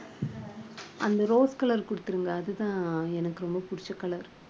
அந்த rose color குடுத்துருங்க. அதுதான் எனக்கு ரொம்ப பிடிச்ச color